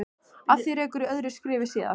Að því rekur í öðru skrifi síðar.